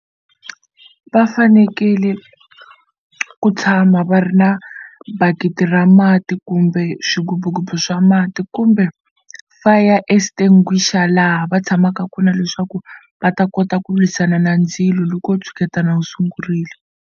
Va fanekele ku tshama va ri na bakiti ra mati kumbe swigububugubu swa mati kumbe fire extinguisher laha va tshamaka kona leswaku va ta kota ku lwisana na ndzilo loko wo tshuketana wu sungurile.